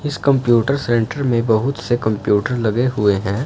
इस computer centre में बहुत से कंप्यूटर लगे हुए हैं।